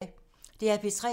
DR P3